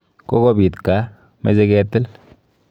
Kokobit gaa, meche ketil.